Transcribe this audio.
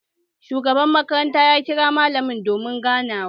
Shugaban makaranta ya kira malamai domin ganawa